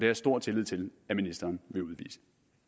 jeg stor tillid til at ministeren vil udvise